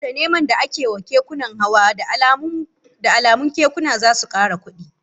Saboda neman da ake wa kekunan hawa, da alamun kekuna zasu kara kudi